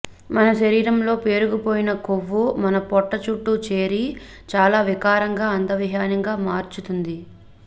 మన శరీరంలో పేరుకుపోయిన కొవ్వు మన పొట్ట చుట్టూ చేరి చాలా వికారంగా అందవిహీనంగా మార్చుతుంది